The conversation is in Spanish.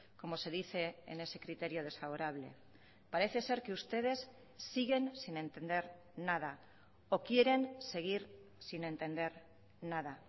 como se dice en ese criterio desfavorable parece ser que ustedes siguen sin entender nada o quieren seguir sin entender nada